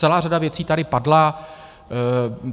Celá řada věcí tady padla.